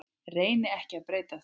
Reyni ekki að breyta því.